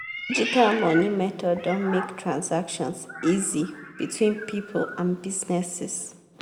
digital money method don make transactions easy between people and businesses.